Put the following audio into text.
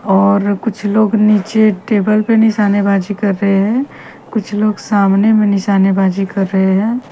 और कुछ लोग नीचे टेबल पे निषानेबाज़ी कर रहे है कुछ लोग सामने निशानेबाजी कर रहे है।